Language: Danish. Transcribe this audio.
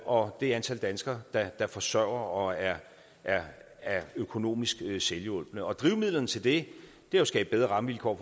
og det antal danskere der forsørger og er er økonomisk selvhjulpne og drivmidlerne til det er at skabe bedre rammevilkår